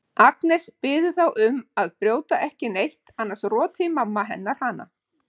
Agnes biður þá um að brjóta ekki neitt annars roti mamma hennar hana.